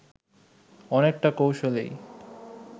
অনেকটা কৌশলেই